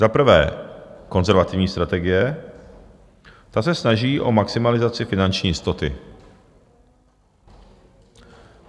Za prvé konzervativní strategie, ta se snaží o maximalizaci finanční jistoty.